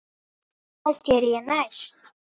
Hvað geri ég næst?